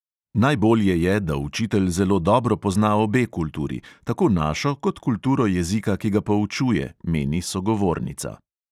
Najbolje je, da učitelj zelo dobro pozna obe kulturi, tako našo kot kulturo jezika, ki ga poučuje, meni sogovornica.